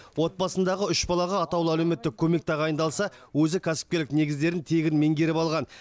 отбасындағы үш балаға атаулы әлеуметтік көмек тағайындалса өзі кәсіпкерлік негіздерін тегін меңгеріп алған